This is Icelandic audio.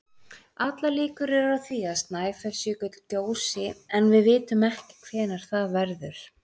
Allar líkur eru á því að Snæfellsjökull gjósi en við vitum ekki hvenær það verður.